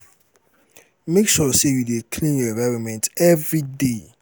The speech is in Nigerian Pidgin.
make sure say you de clean your environment every day